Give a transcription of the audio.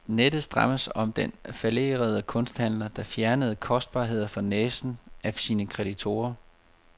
Nettet strammes om den fallerede kunsthandler, der fjernede kostbarheder for næsen af sine kreditorer.